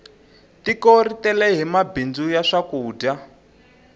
tiko ri tele hi mabindzu ya swakudya